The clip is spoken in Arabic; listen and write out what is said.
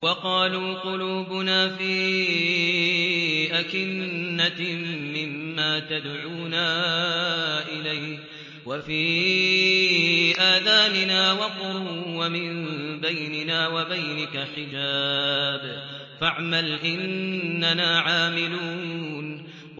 وَقَالُوا قُلُوبُنَا فِي أَكِنَّةٍ مِّمَّا تَدْعُونَا إِلَيْهِ وَفِي آذَانِنَا وَقْرٌ وَمِن بَيْنِنَا وَبَيْنِكَ حِجَابٌ فَاعْمَلْ إِنَّنَا عَامِلُونَ